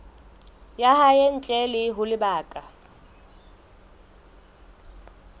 ya hae ntle ho lebaka